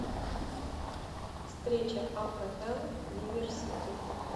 встреча апл ливер сити